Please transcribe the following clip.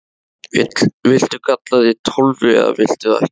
Viltu kalla þig Tólfu eða viltu það ekki?